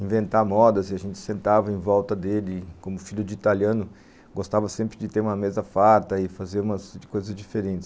inventar modas e a gente sentava em volta dele, como filho de italiano, gostava sempre de ter uma mesa farta e fazer umas coisas diferentes.